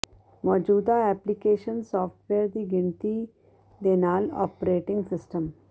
ਮੌਜੂਦਾ application software ਦੀ ਗਿਣਤੀ ਦੇ ਨਾਲ ਓਪਰੇਟਿੰਗ ਸਿਸਟਮ